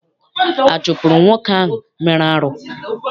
A chụpụrụ nwoke ahụ mere arụ?